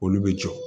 Olu bɛ jɔ